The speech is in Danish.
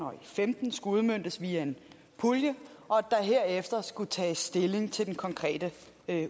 og femten skulle udmøntes via en pulje og at der herefter skulle tages stilling til den konkrete